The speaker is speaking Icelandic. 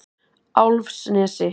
Álfsnesi